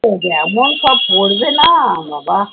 যেমন সব করবে না বাবা